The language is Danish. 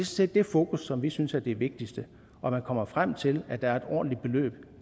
set det fokus som vi synes er det vigtigste og at man kommer frem til at der et ordentligt beløb